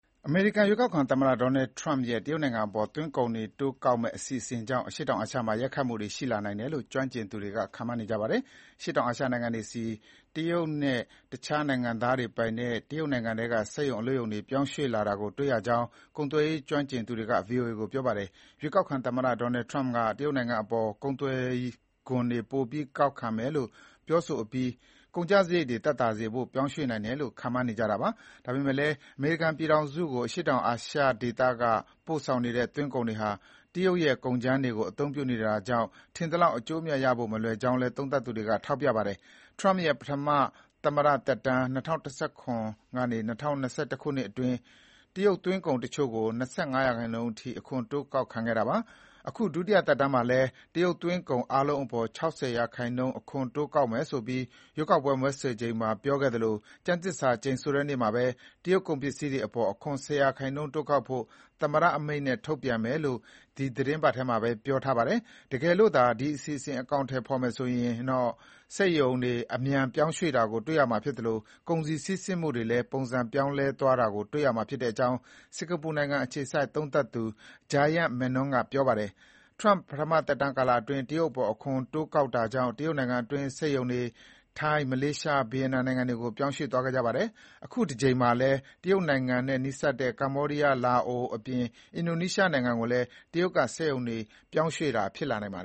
အမေရိကန် ရွေးကောက်ခံသမ္မတ Donald Trump ရဲ့ တရုတ်နိုင်ငံအပေါ် သွင်းကုန်ခွန်တွေ တိုးကောက်မယ့် အစီအစဉ်ကြောင့် အရှေ့တောင်အာရှမှာ ရိုက်ခတ်မှုတွေ ရှိလာနိုင်တယ်လို့ ကျွမ်းကျင်သူတွေ ခန့်မှန်းနေကြပါတယ်။ အရှေ့တောင်အာရှနိုင်ငံတွေဆီ တရုတ်နဲ့ တခြားနိုင်ငံသားတွေပိုင်တဲ့ တရုတ်နိုင်ငံထဲက စက်ရုံ အလုပ်ရုံတွေ ရွှေ့ပြောင်းလာတာတွေ့ရနိုင်ကြောင်း ကုန်သွယ်ရေးကျွမ်းကျင်သူတွေက VOA ကို ပြောပါတယ်။ ရွေးကောက်ခံသမ္မတ Trump ကတရုတ်နိုင်ငံအပေါ် ကုန်သွယ်ခွန်တွေ ပိုပြီး တိုးကောက်မယ်လို့ ပြောပြီးတဲ့နောက် ကုန်ကျစရိတ်တွေသက်သာစေဖို့ ပြောင်းရွှေ့နိုင်တယ်လို့ ခန့်မှန်းနေကြတာပါ။ ဒါပေမဲ့လည်း အမေရိကန်ပြည်ထောင်စုကို အရှေ့တောင်အာရှဒေသကပို့ဆောင်နေတဲ့သွင်းကုန်တွေဟာ တရုတ်ရဲ့ ကုန်ကြမ်းတွေကို အသုံးပြုနေရတာကြောင့် ထင်သလောက် အကျိုးအမြတ်ရဖို့ မလွယ်ကြောင်းလည်း သုံးသပ်သူတွေက ထောက်ပြပါတယ်။ Trump ရဲ့ ပထမ သမ္မတသက်တမ်း ၂၀၁၇ - ၂၀၂၁ ခုနှစ်အတွင်း တရုတ်သွင်းကုန်တချို့ကို ၂၅ ရာခိုင်နှုန်းထိ အခွန်တိုးကောက်ခဲ့တာပါ။ ခု ဒုတိယသက်တမ်းမှာလည်း တရုတ်သွင်းကုန် အားလုံး အပေါ် ၆၀ ရာခိုင်နှုန်း အခွန်တိုးကောက်မယ်ဆိုပြီး ရွေးကောက်ပွဲ မဲဆွယ်ချိန်မှာ ပြောခဲ့သလို ကျမ်းသစ္စာကျိန်ဆိုတဲ့နေ့မှာ တရုတ်ကုန်ပစ္စည်းတွေအပေါ် အခွန်၁၀ ရာခိုင်နှုန်း တိုးကောက်ဖို့ သမ္မတအမိန့်နဲ့ ထုတ်ပြန်မယ်လို့ ဒီသီတင်းပတ်ထဲမှာပဲ ပြောထားပါတယ်။ တကယ်လို့သာဒီအစီအစဉ် အကောင်အထည်ဖေါ်မယ်ဆိုရင်တော့ စက်ရုံတွေ အမြန် ပြောင်းရွှေ့တာကို တွေ့ရမှာဖြစ်သလို ကုန်စည်စီးဆင်းမှုတွေလည်း ပုံစံပြောင်းလဲသွားတာကို တွေ့ရမှာဖြစ်ကြောင်း စင်ကာပူနိုင်ငံအခြေစိုက် သုံးသပ်သူ Jayant Menon က ပြောပါတယ်။ Trump ပထမသက်တမ်းကာလအတွင်း တရုတ်နိုင်ငံအပေါ် အခွန်တိုးကောက်တာကြောင့် တရုတ်နိုင်ငံတွင်းက စက်ရုံတွေ ထိုင်း၊ မလေးရှား၊ ဗီယက်နမ် နိုင်ငံတွေကို ပြောင်းရွှေ့သွားခဲ့ပါတယ်။ ခုတကြိမ်မှာလည်း တရုတ်နိုင်ငံနဲ့ နီးစပ်တဲ့ကမ္ဘောဒီယား၊ လာအိုအပြင် အင်ဒိုနီးရှားနိုင်ငံကိုလည်း တရုတ်နိုင်ငံက စက်ရုံတွေ ပြောင်းရွှေ့လာနိုင်တာပါ။